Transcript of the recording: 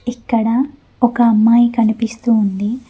ఇక్కడ ఒక అమ్మాయి కనిపిస్తూ ఉంది.